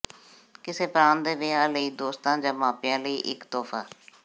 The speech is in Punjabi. ਕਿਸੇ ਪ੍ਰਾਂਤ ਦੇ ਵਿਆਹ ਲਈ ਦੋਸਤਾਂ ਜਾਂ ਮਾਪਿਆਂ ਲਈ ਇੱਕ ਤੋਹਫਾ